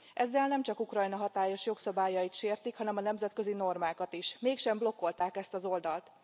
Ezzel nemcsak Ukrajna hatályos jogszabályait sértik, hanem a nemzetközi normákat is, mégsem blokkolták ezt az oldalt.